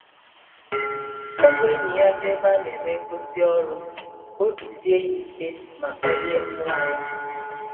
o bu enyi ya gaa ebe a na-eme ngosi ọrụ ka obi sie ya ike ma kpalie mmụọ ya.